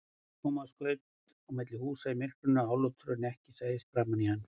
Thomas skaust á milli húsa í myrkrinu, álútur til að ekki sæist framan í hann.